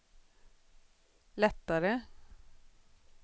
lättare